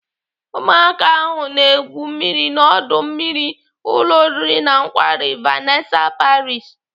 Ụmụaka ahụ na-egwu mmiri n'ọdọ mmiri ụlọ oriri na nkwari Vanessa Paris.